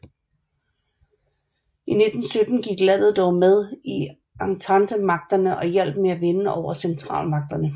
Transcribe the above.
I 1917 gik landet dog med i ententemagterne og hjalp med at vinde over centralmagterne